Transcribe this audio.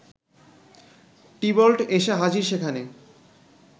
Tybalt এসে হাজির সেখানে